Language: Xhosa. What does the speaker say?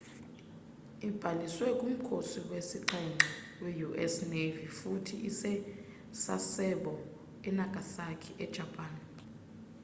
ibhaliselwe kumkhosi wesixhenxe we-us navy futhi ise-sasebo e-nagasaki e-japan